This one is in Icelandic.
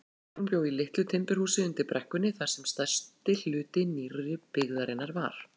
Kolbrún bjó í litlu timburhúsi undir brekkunni þar sem stærsti hluti nýrri byggðarinnar var.